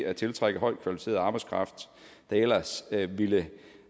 at tiltrække højtkvalificeret arbejdskraft der ellers ville